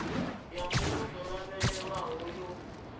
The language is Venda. ya mbuno dzo lavhelelwaho yo